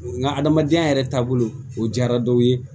Nga adamadenya yɛrɛ taabolo o diyara dɔw ye